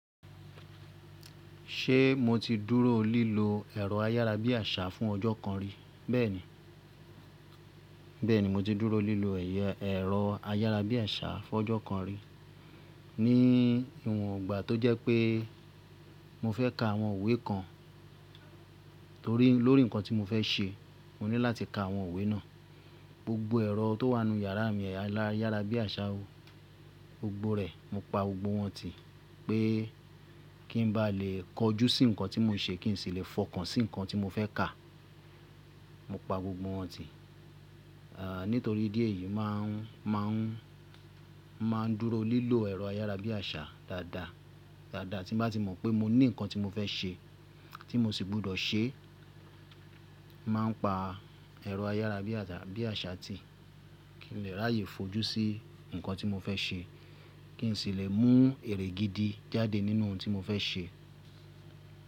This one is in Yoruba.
Ṣé mo ti dúró lílo ẹ̀rọ ayárabíàṣá fún ọjọ́ kan rí? Bẹ́ẹ̀ni, bẹ́ẹ̀ni mo ti dúró lílo ẹ̀rọ ayárabíàṣá fún ọjọ́ kan rí ní ìwòn igbà tó jẹ́ pé mo fẹ́ ka àwọn iwe kan tórí, lórí nǹkan tí mo fẹ́ ṣe. Mo ní láti ka àwọn òwe náà. Gbogbo ẹ̀rọ tó wà nínú yàrá mi ayárabíàṣá, gbogbo rẹ̀ mo pa gbogbo wọn tì pé kí n bá lè kojú sí nǹkan tí mo ń ṣe, kí n sì lè fọkàn sí nǹkan tí mo fẹ́ kà. Mo pa gbogbo wọn tì. Ah nítorí idi eyi máa ń, máa ń, máa ń dúró lílo ẹ̀rọ ayárabíàṣá dáadáa, dáadáa. Tí bá ti mọ̀ pé mo ní nǹkan tí mo fẹ́ ṣe tí mo sì gbọ́dọ̀ ṣe, màá ń pa ẹ̀rọ ayárabíàṣá, bíàṣá tì kí n lè ráyè fojú sí nǹkan tí mo fẹ́ ṣe, kí n sì lè mú èrè gidi jáde nínú ohun tí mo fẹ́ ṣe.